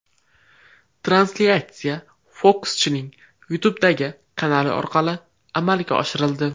Translyatsiya fokuschining YouTube’dagi kanali orqali amalga oshirildi .